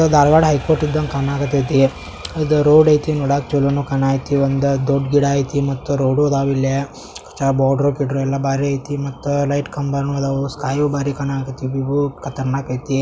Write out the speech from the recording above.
ಇದು ಧಾರವಾಡ ಹೈಕೋರ್ಟ್ ಇದ್ದಂಗೆ ಕಾಣಕತೈತಿ ಇದು ರೋಡೈತಿ ನೋಡಕ್ಕೆ ಚಲೋ ಕಾಣಕತ್ತಿ. ಒಂದು ದೊಡ್ಡ ಗಿಡ ಆಯ್ತು ಮತ್ತು ರೋಡು ಇದಾವೆ. ಇಲ್ಲಿ ಚಲೋ ಬೋಳುಗಿದು ಎಲ್ಲಾ ಬಾಳ ಐತಿ ಮತ್ತೆ ಲೈಟು ಕಂಬ ಅದಾವು ಸ್ಕೈ ಬಾರಿ ಕಾಣಕತ್ತಾವು ಈ ಊರು ಕತರ್ನಾಕ್ ಐತಿ.